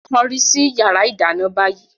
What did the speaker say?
Kọrí sí yàrá ìdáná báyìí!